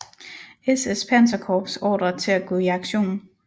SS panserkorps ordre til at gå i aktion